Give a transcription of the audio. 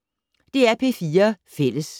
DR P4 Fælles